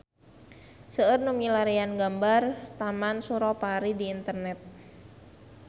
Seueur nu milarian gambar Taman Suropari di internet